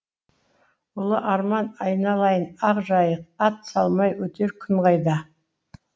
ұлы арман айналайын ақ жайық ат салмай өтер күн қайда